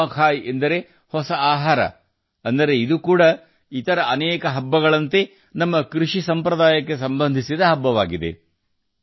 ನುವಾಖೈ ಎಂದರೆ ಹೊಸ ಆಹಾರ ಅಂದರೆ ಇದು ಕೂಡ ಇತರ ಅನೇಕ ಹಬ್ಬಗಳಂತೆ ನಮ್ಮ ಕೃಷಿ ಸಂಪ್ರದಾಯಗಳಿಗೆ ಸಂಬಂಧಿಸಿದ ಹಬ್ಬವಾಗಿದೆ